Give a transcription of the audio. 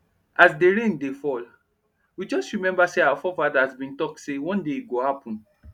as dey rain dey fall we just remember say our fore fathers been talk say one day e go happen